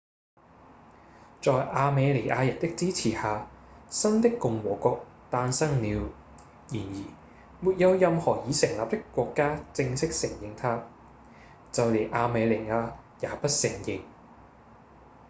在亞美尼亞人的支持下新的共和國誕生了然而沒有任何已成立的國家正式承認它就連亞美尼亞也不承認